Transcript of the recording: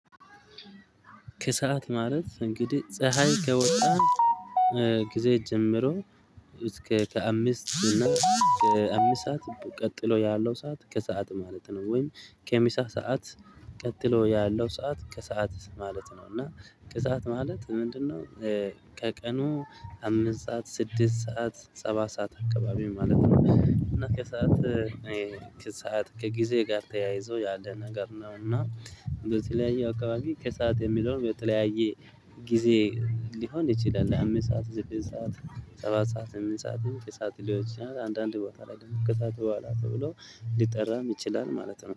ከሰአት ማለት እንግዲህ ፀሀይ ከወጣ ጊዜ ጀምሮ እስከ ከአምስት እና ከአምስት ሰዓት ቀጥሎ ያለው ሰዓት ከሰአት ማለት ነው ወይም ከምሳ ሰዓት ቀጥሎ ያለው ሰዓት ከሰአት ማለት ነው። እና ከሰአት ማለት ምንድነው? ከቀኑ አምስት ሰዓት ስድስት ሰዓት ሰባት ሰዓት አካባቢ ማለት ነው። እና ከሰአት ከሰአት ከጊዜ ጋር ተያይዞ ያለ ነገር ነው። እና በተለያየ አከባቢ ከሰአት የሚለውን በተለያየ ጊዜ ሊሆን ይችላል። አምስት ሰዓት ስድስት ሰዓት ሰባት ሰዓት ስምንት ሰዓት ከሰአት ሊሆን ይችላል። አንዳንድ ቦታ ላይ ከሰአት በኋላ ተብሎ ሊጠራም ይችላል ማለት ነው